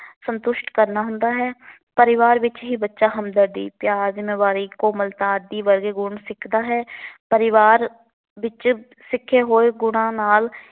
ਸਤੁੰਸ਼ਟ ਕਰਨਾ ਹੁੰਦਾ ਹੈ। ਪਰਿਵਾਰ ਵਿੱਚ ਹੀ ਬੱਚਾ ਹਮਦਰਦੀ, ਪਿਆਰ, ਜਿੰਮੇਵਾਰੀ, ਕੋਮਲਤਾ ਆਦਿ ਵਰਗੇ ਗੁਣ ਸਿੱਖਦਾ ਹੈ। ਪਰਿਵਾਰ ਵਿੱਚ ਸਿੱਖੇ ਹੋਏ ਗੁਣਾ ਨਾਲ